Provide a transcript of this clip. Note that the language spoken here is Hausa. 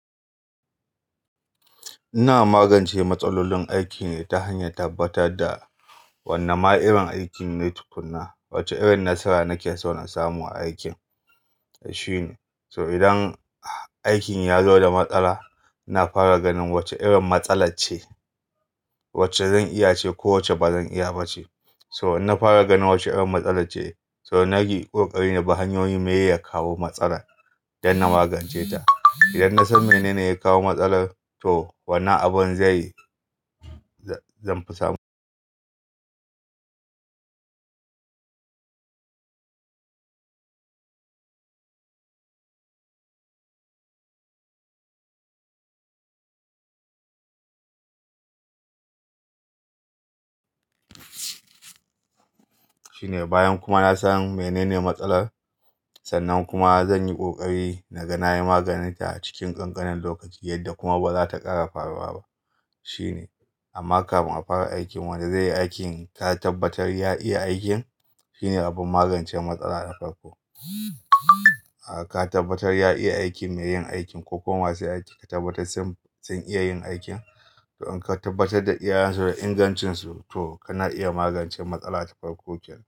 Ina magance matsalolin aikin ne ta hanyan tabbatar da wane ma irin aikin ne tukuna, wace irin nasara nake so na samu a aikin. So idan aikin ya zo da matsala, na fara ganin wace irin matsala ce, wacce zan iya ce ko wacce ba zan iya ba ce. So in na fara ganin wace irin matsala ce, so nagi kokari na bi hanyoyin miye ya kawo matsalar don na magance ta. Idan na san mene ne ya kawo matsalar, to wannan abin zai-- zan fi samu. Shine bayan kuma na san mene ne matsalar, sannan kuma zan yi kokari na ga na yi maganinta a cikin ƙanƙanin lokaci yadda kuma ba za ta ƙara faruwa ba shine. Amma kafin a fara aikin wanda zai yi aikin ka tabbatar ya iya aikin. Shine abin magance matsala na farko. Ka tabbatar ya iya aikin mai yin aikin ko kuma ma su aiki ka tabbatar sun iya yin aikin. To in ka tabbatar da iyayensu da ingancinsu, to kana iya magance matsala ta farko kenan.